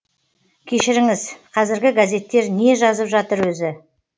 кешіріңіз қазіргі газеттер не жазып жатыр өзі